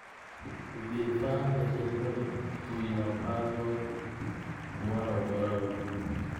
Vifaa vya kilimo vinapaswa kuwa na ubora wa juu.